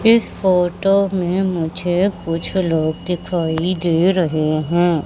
इस फोटो मे मुझे कुछ लोग दिखाई दे रहे है।